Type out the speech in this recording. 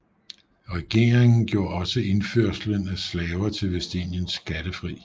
Regeringen gjorde også indførslen af slaver til Vestindien skattefri